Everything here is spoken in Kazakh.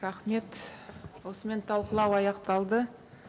рахмет осымен талқылау аяқталды